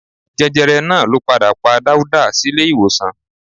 Jẹjẹrẹ náà ló padà pa Dáúdà sílé ìwòsàn